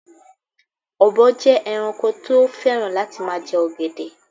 Ọ̀bọ jẹ ẹranko tí ó fẹ́ràn láti ma jẹ ọ̀gẹ̀dẹ̀